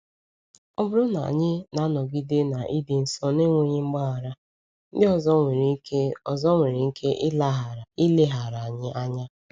Ọ bụrụ na anyị na-anọgide na ịdị nsọ n’enweghị mgbaghara, ndị ọzọ nwere ike ọzọ nwere ike ileghara anyị anya.